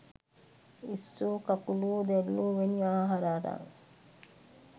ඉස්සෝ කකුලුවො දැල්ලෝ වැනි ආහාර අරන්